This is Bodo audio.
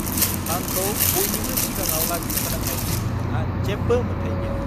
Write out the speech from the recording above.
आंखौ बयनिबो सिगाङाव लाजि फोनांनायनि नोंहा जेबो मोन्थाय गैया!